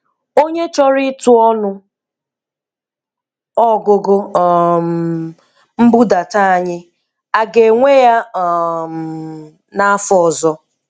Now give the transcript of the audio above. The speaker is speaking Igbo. Onye chọrọ ịtụ ọnụ ọgụgụ um nbudata anyị, aga-enwe ya um n'afọ ọzọ?